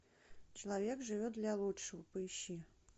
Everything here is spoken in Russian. человек живет для лучшего поищи